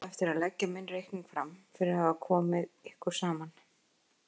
Ég á eftir að leggja minn reikning fram fyrir að hafa komið ykkur saman.